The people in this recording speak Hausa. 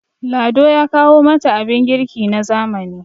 lado ya kawo mata abin girki na zamani